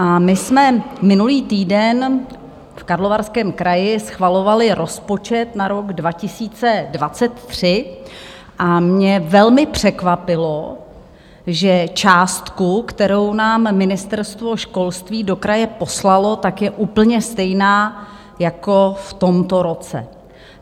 A my jsme minulý týden v Karlovarském kraji schvalovali rozpočet na rok 2023 a mě velmi překvapilo, že částka, kterou nám Ministerstvo školství do kraje poslalo, tak je úplně stejná jako v tomto roce.